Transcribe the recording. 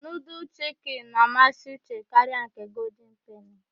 Nudul chiki na-amasị Uche karịa nke golden peni.